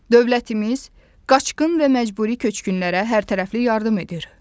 Dövlətimiz qaçqın və məcburi köçkünlərə hərtərəfli yardım edir.